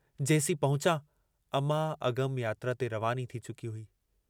जेसीं पहुंचा अमां अगम यात्रा ते रवानी थी चुकी हुई।